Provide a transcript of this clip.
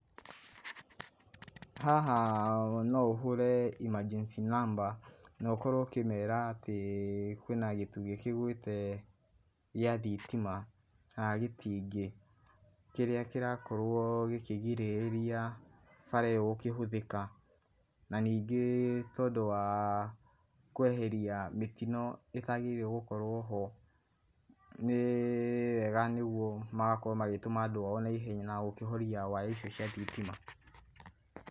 Haha no ũhũre emergency number no ũkorwo ũkĩmeera atĩ kwĩna gĩtugĩ kĩgwĩte gĩa thitima, kana gĩtingĩ kĩrĩa kĩrakorwo gĩkigirĩrĩria bara iyo gũkĩhũthĩka, na ningĩ tondũ wa kweheria mĩtino ĩtagĩrĩire gũkorwo ho, nĩ wega nĩguo magakorwo magĩtũma andũ ao na ihenya na gũkĩhoria waya icio cia thitima.